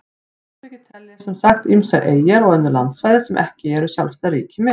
Samtökin telja sem sagt ýmsar eyjar og önnur landsvæði sem ekki eru sjálfstæð ríki með.